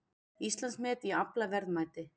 Íslandsmet í aflaverðmæti